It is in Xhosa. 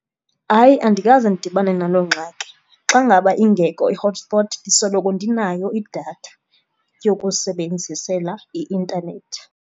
Hayi, andikaze ndidibane naloo ngxaki. Xa ngaba ingekho i-hotspot ndisoloko ndinayo idatha yokusebenzisela i-intanethi.